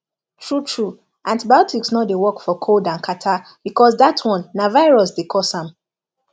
true true antibiotics no dey work for cold and catarrh because dat one na virus dey cause am